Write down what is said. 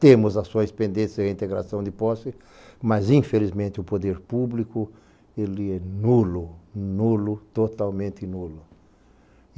Temos ações pendentes em integração de posse, mas infelizmente o poder público, ele é nulo, nulo, totalmente nulo.